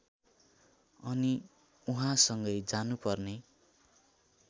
अनि उहाँसँगै जानुपर्ने